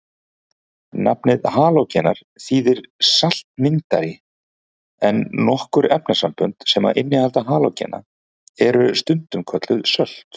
Nafnið halógenar þýðir saltmyndari en nokkur efnasambönd sem innihalda halógena eru stundum kölluð sölt.